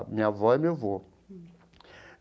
Minha avó e meu avô.